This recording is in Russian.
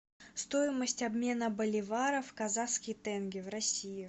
стоимость обмена боливара в казахский тенге в россии